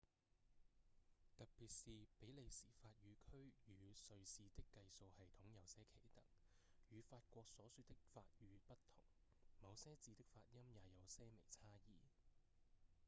特別是比利時法語區與瑞士的計數系統有些奇特與法國所說的法語不同某些字的發音也有些微差異